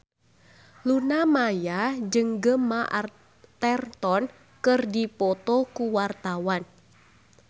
Luna Maya jeung Gemma Arterton keur dipoto ku wartawan